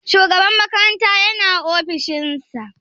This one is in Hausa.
Shugaba makaranta yana ofishin sa?